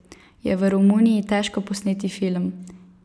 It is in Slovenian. Je v Romuniji težko posneti film?